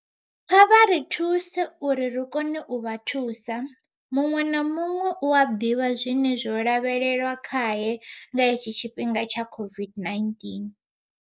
Kha vha ri thuse uri ri kone u vha thusa. Muṅwe na muṅwe u a ḓivha zwine zwo lavhelelwa khae nga itshi tshifhinga tsha COVID-19.